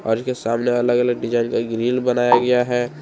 और इसके सामने अलग अलग डिजाइन का ग्रिल बनाया गया है।